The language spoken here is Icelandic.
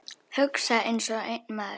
Hugsa einsog einn maður.